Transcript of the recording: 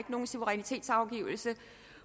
nogen suverænitetsafgivelse